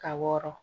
Ka wɔrɔn